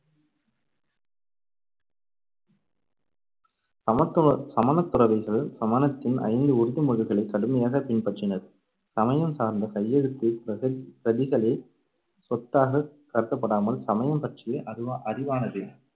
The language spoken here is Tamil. சமத்துவ~ சமணத்துறவிகள் சமணத்தின் ஐந்து உறுதிமொழிகளைக் கடுமையாகப் பின்பற்றினர். சமயம் சார்ந்த கையெழுத்துப் பிரக~பிரதிகளே சொத்தாகக் கருதப்படாமல் சமயம் பற்றிய அறி~ அறிவானது